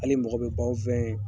Hali mɔgɔ bɛ bɔ anw fɛ ye.